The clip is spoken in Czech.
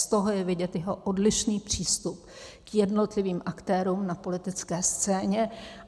Z toho je vidět jeho odlišný přístup k jednotlivým aktérům na politické scéně.